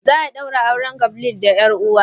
Za a ɗaura auren Gabriel da yar'uwa.